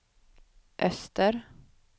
öster